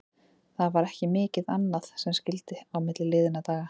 Það var ekki mikið annað sem skyldi á milli liðanna í dag.